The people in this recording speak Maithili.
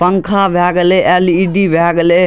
पंखा भए गेले एल.इ.डी. भए गेले।